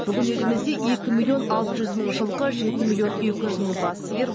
бүгін елімізде екі миллион алты жүз мың жылқы жеті миллион екі жүз мың бас сиыр